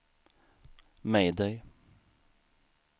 mayday